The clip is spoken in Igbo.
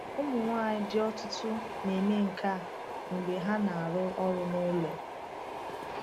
Ụmụ nwanyị di ọtụtụ na-eme nke a mgbe ha na-arụ ọrụ n’ụlọ.